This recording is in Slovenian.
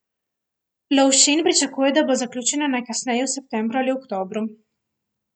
Lovšin pričakuje, da bo zaključena najkasneje v septembru ali oktobru.